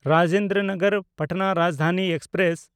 Rajendra Nagar Patna Rajdhani express